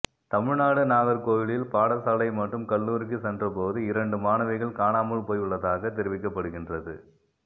தமிழ்நாடு நாகர்கோவிலில் பாடசாலை மற்றும் கல்லூரிக்கு சென்ற போது இரண்டு மாணவிகள் காணாமல் போயுள்ளதாக தெரிவிக்கப்படுகின்றது